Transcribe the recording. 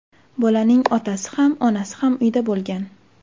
Bolaning otasi ham, onasi ham uyda bo‘lgan.